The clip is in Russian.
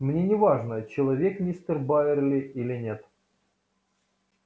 мне не важно человек мистер байерли или нет